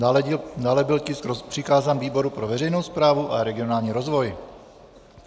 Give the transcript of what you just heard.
Dále byl tisk přikázán výboru pro veřejnou správu a regionální rozvoj.